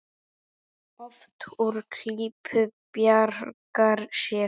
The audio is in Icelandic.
Oft úr klípu bjargar sér.